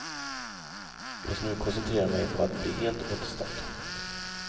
Jag ska nu koncentrera mig på att bli helt återställd.